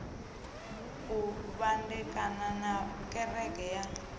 u vhandekana na kereke ya